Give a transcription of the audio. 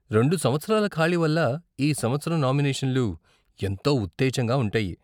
రెండు సంవత్సరాల ఖాళీ వల్ల ఈ సంవత్సరం నామినేషన్లు ఎంతో ఉత్తేజంగా ఉంటాయి.